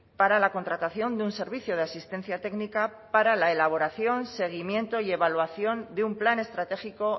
para la contratación de un servicio de asistencia técnica para la elaboración seguimiento y evaluación de un plan estratégico